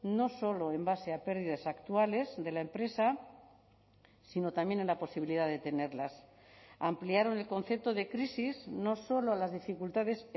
no solo en base a pérdidas actuales de la empresa sino también en la posibilidad de tenerlas ampliaron el concepto de crisis no solo a las dificultades